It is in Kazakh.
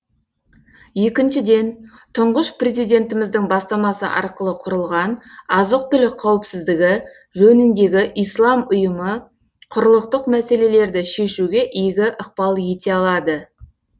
екіншіден тұңғыш президентіміздің бастамасы арқылы құрылған азық түлік қауіпсіздігі жөніндегі ислам ұйымы құрлықтық мәселелерді шешуге игі ықпал ете алады